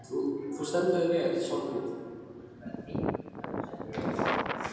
Þú stendur þig vel, Svanhvít!